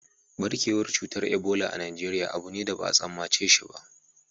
Ɓarkewar cutar Ebola a Najeriya abu ne da ba a tsammace shi ba